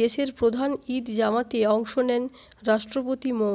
দেশের প্রধান ঈদ জামাতে অংশ নেন রাষ্ট্রপতি মো